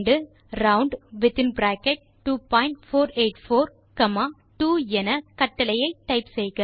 ரவுண்ட்2484 2 என கட்டளை டைப் செய்க